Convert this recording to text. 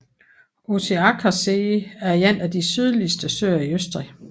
Ossiacher See er en af de sydligste søer i Østrig